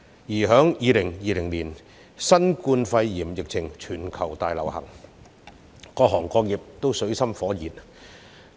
其後，於2020年，新冠肺炎侵襲全球，各行各業均處於水深火熱中。